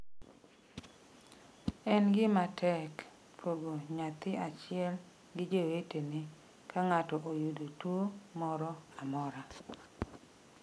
"""En gima tek pogo nyathi achiel gi jowetene ka ng'ato oyudo tuwo moro amora."